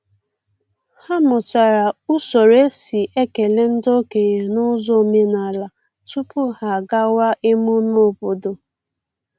Ha mụtara usoro e si ekele ndị okenye n’ụzọ omenala tupu ha agawa emume obodo.